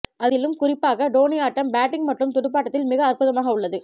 அதிலும் குறிப்பாக டோனி ஆட்டம் பேட்டிங் மற்றும் துடுப்பாட்டத்தில் மிக அற்புதமாக உள்ளது